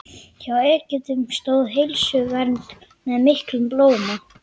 Hjá Egyptum stóð heilsuvernd með miklum blóma.